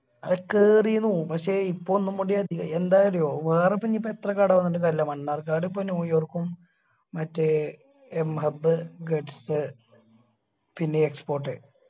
കേറി നൊ പക്ഷെ ഇപ്പൊ ഒന്ന്കുടി അധികായി എന്താന്ന് അറിയോ വേറെ ഇപ്പോ ഇനിയിപ്പം എത്ര കട വന്നിട്ടും കാര്യില്ല മണ്ണാർക്കാട് ഇപ്പൊ ന്യൂയോർക്കും മറ്റേ m hub guts പിന്നെ export